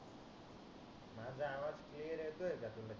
माझा आवाज क्लियर येतोय का तुला